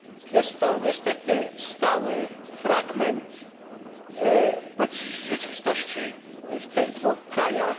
Jest to niestety stały fragment politycznej rzeczywistości w tych dwóch krajach.